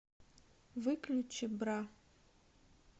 выключи бра